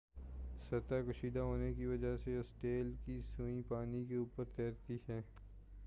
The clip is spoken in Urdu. سطح کشیدہ ہونے کی وجہ سے اسٹیل کی سوئی پانی کے اوپر تیرتی ہے